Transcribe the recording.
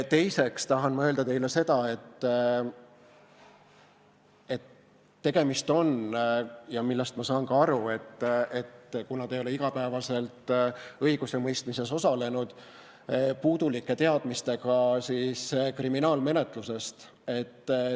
Teiseks tahan ma öelda teile seda, et tegemist on – ja ma saan sellest ka aru, kuna te ei ole igapäevaselt õigusemõistmises osalenud – puudulike teadmistega kriminaalmenetlusest.